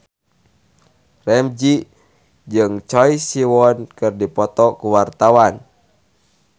Ramzy jeung Choi Siwon keur dipoto ku wartawan